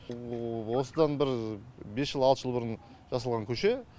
осыдан бір бес жыл алты жыл бұрын жасалған көше